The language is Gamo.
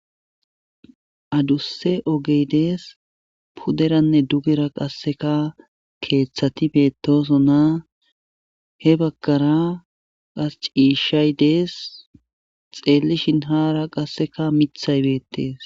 Adusse ogeydees puderanne dugera qasseka keeththati beetosona he bagkara as ciishshay dees xeellishin haara qasseka mithaybeettees.